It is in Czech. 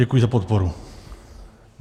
Děkuji za podporu.